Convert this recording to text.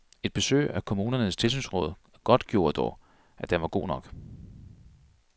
Et besøg af kommunernes tilsynsråd godtgjorde dog, at den var god nok.